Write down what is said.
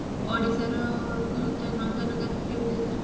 ଓଡିଶାର ଯୋଉ କେବେ ନନ୍ଦନକାନନ କେବେ ଯାଇଛୁ ନା